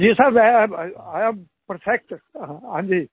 ji sir I am perfect हां जी